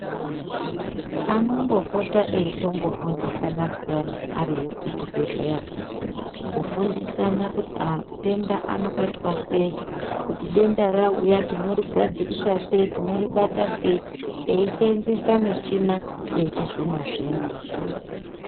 Anombopota eitombo fundisana pheyani ariyo kuchibhedhley ako kufundisana kuti atenda anobatwa sei kuti denda rauya tino rigadzirisa sei tinoribata sei eiseenzesa michina yechizvino zvino.